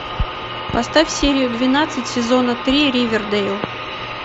поставь серию двенадцать сезона три ривердейл